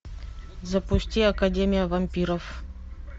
запусти академия вампиров